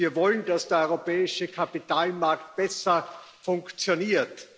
Wir wollen, dass der europäische Kapitalmarkt besser funktioniert.